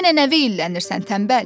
Yenə nə veylənirsən tənbəl?